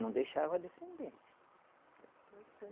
Não deixava a descendência.